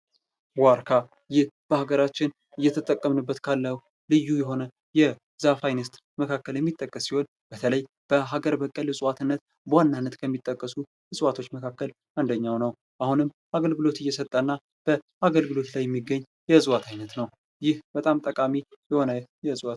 ዋርካ ፡-ይህ በሀገራችን እየተጠቀምንበት ካለው ልዩ የሆነ የዛፍ አይነት መካከል የሚጠቀስ ሲሆን በተለይ በሀገር በቀል እፅዋትነት በዋናነት ከሚጠቀሱ እፅዋቶች መካከል አንደኛው ነው ።አሁንም አገልግሎት እየሰጠ እና በአገልግሎት ላይ የሚገኝ የእፅዋት አይነት ነው ።ይህ በጣም ጠቃሚ የሆነ የእፅዋት